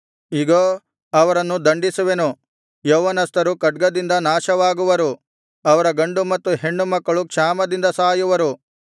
ಇಗೋ ಅವರನ್ನು ದಂಡಿಸುವೆನು ಯೌವನಸ್ಥರು ಖಡ್ಗದಿಂದ ನಾಶವಾಗುವರು ಅವರ ಗಂಡು ಮತ್ತು ಹೆಣ್ಣುಮಕ್ಕಳು ಕ್ಷಾಮದಿಂದ ಸಾಯುವರು